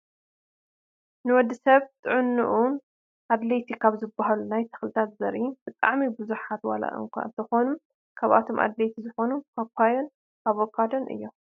ን ወድሰብ ንጥዕንኡ ኣድለይቲ ካብ ዝበሃሉ ናይ ተኺሊ ዘርኢ ብጣዕሚ ብዙሓት ዋላ እኳ እነኾኑ ካብቶም ኣድለይቲ ዝበሃሉ ፓፓዮን ኣቨካዶን እዮም።